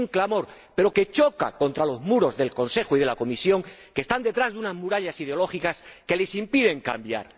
Es un clamor, pero que choca contra los muros del Consejo y de la Comisión, que están detrás de unas murallas ideológicas que les impiden cambiar.